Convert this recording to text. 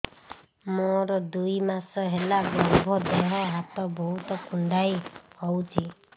ମୋର ଦୁଇ ମାସ ହେଲା ଗର୍ଭ ଦେହ ହାତ ବହୁତ କୁଣ୍ଡାଇ ହଉଚି